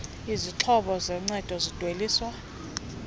izixhobo zoncedo zidweliswa